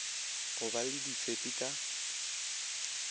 go ba le difepi ka